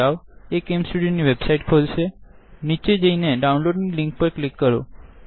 site પર જાઓ એ CamStudioકેમ સ્ટુડીઓની વેબસાઈટ ખોલશેનીચે જઈને ડાઉનલોડ ની લીંક પર ક્લિક કરો